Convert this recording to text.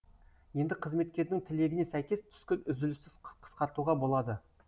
енді қызметкердің тілегіне сәйкес түскі үзілісті қысқартуға болады